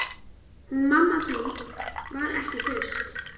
Hún mamma þín var ekki hraust.